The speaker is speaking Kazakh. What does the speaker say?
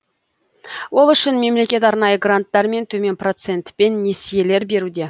ол үшін мемлекет арнайы гранттар мен төмен процентпен несиелер беруде